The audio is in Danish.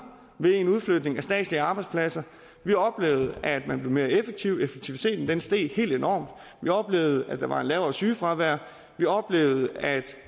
ved en udflytning af statslige arbejdspladser vi oplevede at man blev mere effektiv effektiviteten steg helt enormt vi oplevede at der var et lavere sygefravær vi oplevede at